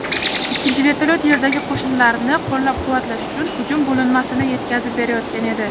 ikkinchi vertolyot yerdagi qo‘shinlarni qo‘llab-quvvatlash uchun hujum bo‘linmasini yetkazib berayotgan edi.